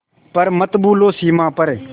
पर मत भूलो सीमा पर